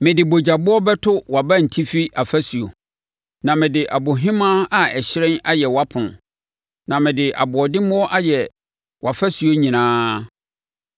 Mede bogyaboɔ bɛto wʼabantifi afasuo, na mede abohemaa a ɛhyerɛn ayɛ wʼapono, na mede aboɔdemmoɔ ayɛ wʼafasuo nyinaa.